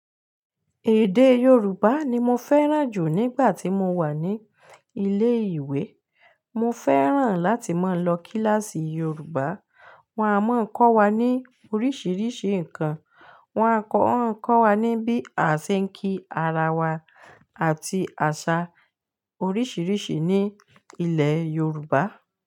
Èdè Yoruba ni mo fẹ́ràn jù nígbà tí mo wà ní ilé ìwé. Mo fẹ́ràn láti máa lọ kíláàsì Yoruba. Wọ́n a máa ń kọ́ wa ní oríṣiríṣi nǹkan. Wọ́n a máa ń kọ́ wa ní bí a ṣe ń kí ara wa àti àṣà oríṣiríṣi ní ilẹ̀ Yorùbá.